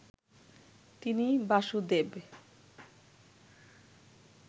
তিনি বাসুদেব